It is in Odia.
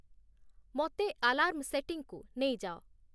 ମୋତେ ଆଲାର୍ମ ସେଟିଂକୁ ନେଇଯାଅ